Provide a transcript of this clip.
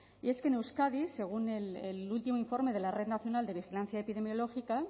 y es que en euskadi según el último informe de la red nacional de vigilancia epidemiológica